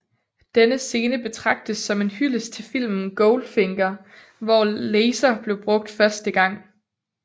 Denne scene betragtes som en hyldest til filmen Goldfinger hvor laser blev brugt første gang